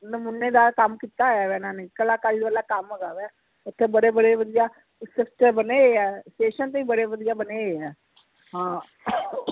ਨਾਮੁਨੇਦਾਰ ਕੰਮ ਕੀਤਾ ਹੋਇਆ ਵਾ ਇਹਨਾਂ ਨੇ ਕਲਾਕਾਰੀ ਵਾਲਾ ਕੰਮ ਹੇਗਾ ਵੈ ਇਥੇ ਬੜੇ ਬੜੇ ਵਧੀਆ ਗੁਲਦਸਤੇ ਬਣੇ ਹੋਏ ਐ station ਤੇ ਵੀ ਬਣੇ ਹੋਏ ਐ ਹਾਂ